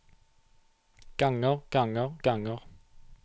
ganger ganger ganger